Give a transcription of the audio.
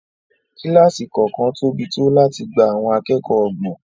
Kílásì kọ̀ọ̀kan tóbi tó láti gba àwọn akẹ́kọ̀ọ́ ọgbọ̀n